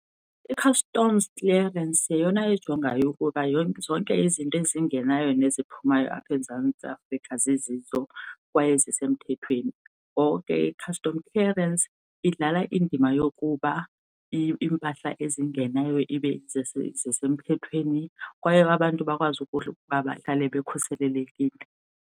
I-customs clearance yeyona ejongayo ukuba zonke izinto ezingenayo neziphumayo apha eMzantsi Afrika zizizo kwaye zisemthethweni, ngoko ke i-customs clearance idlala indima yokuba iimpahla ezingenayo ibe zisemthethweni kwaye abantu bakwazi ukuba bahlale bekhuselekile.